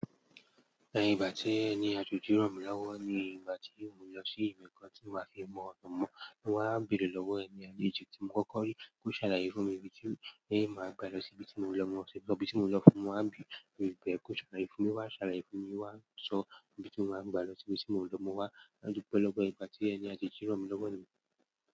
Ní ìgbà tí ẹni àjèjì ràn mí lọ́wọ́ ni ìgbà tí mo lọ sí ìbì kan tí wà á fi mọ ọ̀nà mọ́, mo wá ń bèèrè lọ́wọ́ ẹni àjèjì tí mo kọ́kọ́ rí kó ṣàlàyé fún mi ibi tí èyí máa gbà lọ sí ibi tí mo ń lọ, mo sì lọ ibi tí mo ń lọ fún un, mo wá ń bi ìbè, kó ṣàlàyé fún mi, wá ṣàlàyé fún mi, wá ń sọ ibi tí mo ń gbà lọ sí ibi tí mo ń lọ, mo wá ń dúpẹ́ lọ́pọ̀. Ìgbà tí ẹni àjèjì ràn mí lọ́wọ́ ni.